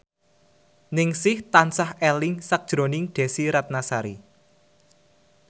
Ningsih tansah eling sakjroning Desy Ratnasari